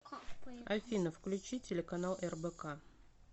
афина включи телеканал рбк